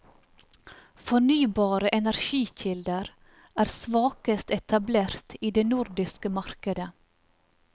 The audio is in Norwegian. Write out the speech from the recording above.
Fornybare energikilder er svakest etablert i det nordiske markedet.